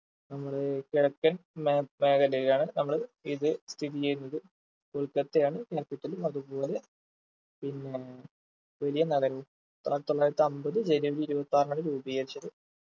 നമ്മള് ഏർ കിഴക്കൻ മേ മേഖലയിലാണ് നമ്മള് ഇത് സ്ഥിതി ചെയ്യുന്നത് കൊൽക്കത്തയാണ് capital അതുപോലെ പിന്നേ വലിയ നഗരവും ആയിരത്തിത്തൊള്ളായിരത്തി അമ്പത് ജനുവരി ഇരുപത്തിയാറിനാണ് രൂപീകരിച്ചത്